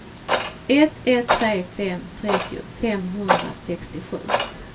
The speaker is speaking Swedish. ett ett tre fem trettio femhundrasextiosju